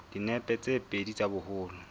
dinepe tse pedi tsa boholo